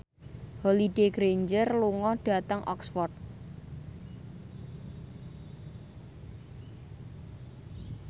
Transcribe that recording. Holliday Grainger lunga dhateng Oxford